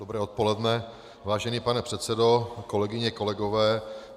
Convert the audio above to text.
Dobré odpoledne, vážený pane předsedo, kolegyně, kolegové.